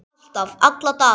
Alltaf, alla daga.